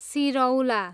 सिरौला